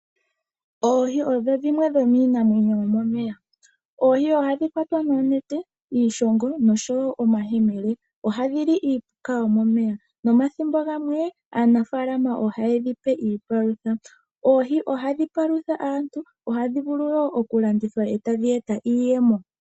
Oohi odho dhimwe dhomiinamwenyo yomomeya. Oohi ohadhi kwatwa noonete, iishongo nosho wo omayemele. Ohadhi li iipuka yomomeya nomathimbo gamwe aanafalama ohaye dhi pe iipalutha. Oohi ohadhi palutha aantu. Ohadhi vulu wo okulandithwa e tadhi eta iiyemo.